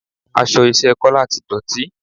Aṣọ iṣẹ́ Kola ti dọ̀tí